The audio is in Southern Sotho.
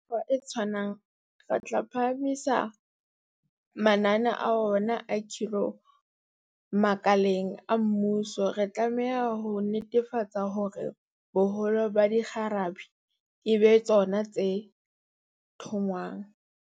Ka mekgwa e tshwanang, re tla phahamisa mananeo a rona a khiro makaleng a mmuso, re tlameha ho netefatsa hore boholo ba dikgarabe e ba tsona tse thongwang.